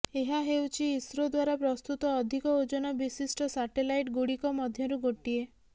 ଏହା ହେଉଛି ଇସ୍ରୋ ଦ୍ୱାରା ପ୍ରସ୍ତୁତ ଅଧିକ ଓଜନ ବିଶିଷ୍ଟ ସାଟେଲାଇଟ୍ଗୁଡ଼ିକ ମଧ୍ୟରୁ ଗୋଟିଏ